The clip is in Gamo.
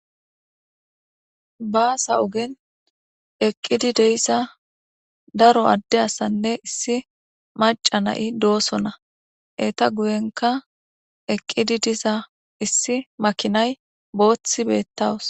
Baassa oogen eeqidii de'iza daro adde asanne issi maca na'i dossonna eetta guyenkka eeqidii diza boththa maakinaykka beetawus.